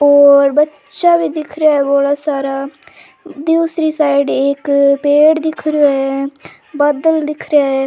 और बच्चा भी दिख रा है बड़ा सारा दूसरी साइड एक पेड़ दिख रा है बादल दिख रेहा है।